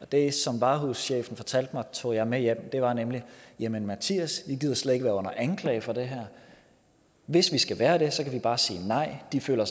det som varehuschefen fortalte mig tog jeg med hjem og det var jamen mattias vi gider slet ikke være under anklage for det her hvis vi skal være det kan vi bare sige nej de føler